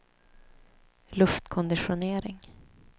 luftkonditionering